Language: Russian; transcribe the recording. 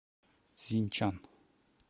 цзиньчан